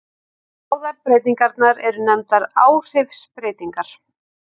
Báðar breytingarnar eru nefndar áhrifsbreytingar.